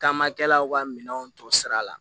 Taamakɛlaw ka minɛnw to sira la